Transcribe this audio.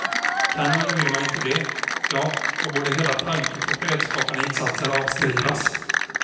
Kan eller vill man inte det, ja då borde hela tanken på fredsskapande insatser avskrivas.